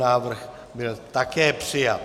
Návrh byl také přijat.